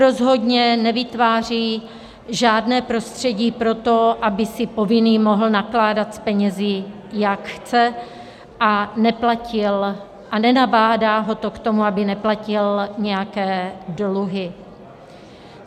Rozhodně nevytváří žádné prostředí pro to, aby si povinný mohl nakládat s penězi, jak chce, a nenabádá ho k tomu, aby neplatil nějaké dluhy.